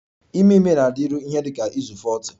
Ime ime na-adịru ihe dị ka izu 40